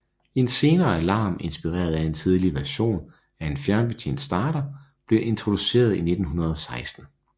En senere alarm inspireret af en tidlig version af en fjernbetjent starter blev introduceret i 1916